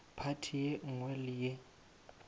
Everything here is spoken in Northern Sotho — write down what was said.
phathi ye nngwe le ye